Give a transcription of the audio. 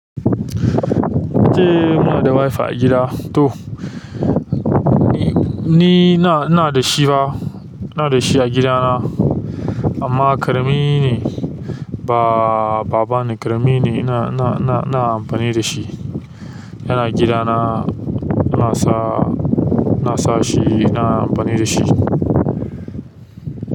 Ace, muna da wife a gida to, ni na, ina da shi ba, ina da shi a gidana amma ƙarami ne. Ba, babana ƙarami ne ina, ina, ina, ina amfani da shi. Yana gidana, ina sa, ina sa shi, ina amfani da shi.